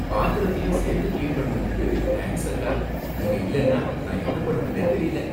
பாத்திரத்தையும் சேர்த்து கிளீன் பண்ணுனதுக்கு தேங்க்ஸ், அக்கா. நீங்க இல்லைனா நான் என்ன பண்ணுவேன்னே தெரியல.